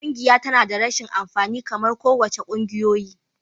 Ƙungiya tana da rashin amfani kamar kowace ƙungiyoyi.